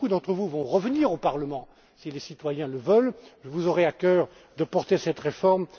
à adopter. Comme beaucoup d'entre vous vont revenir au Parlement, si les citoyens le veulent, vous aurez à coeur de porter cette